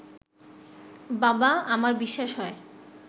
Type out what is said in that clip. বাবা, আমার বিশ্বাস হয়